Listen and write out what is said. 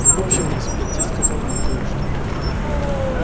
в общем мисс питти сказал нам кое-что